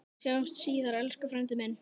Sjáumst síðar, elsku frændi minn.